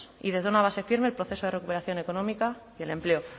y desde una base firme el proceso de recuperación económica y el empleo